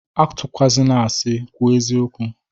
Atụkwana asị, kwuo eziokwụ!